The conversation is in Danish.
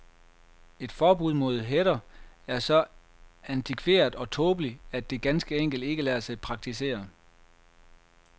Et forbud mod hætter er så antikveret og tåbeligt, at det ganske enkelt ikke lader sig praktisere.